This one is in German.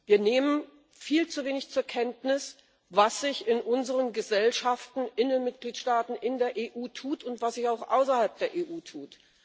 Wir nehmen viel zu wenig zur Kenntnis, was sich in unseren Gesellschaften, in den Mitgliedstaaten, in der EU tut und was sich auch außerhalb der EU tut.